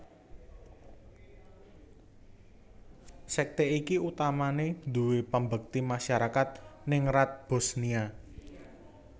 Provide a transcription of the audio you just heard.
Sekte iki utamane duwé pambekti masyarakat ningrat Bosniya